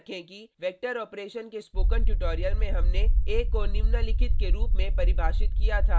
याद रखें कि वेक्टर ऑपेरशन के स्पोकन ट्यूटोरियल में हमने a को निम्नलिखित के रूप में परिभाषित किया था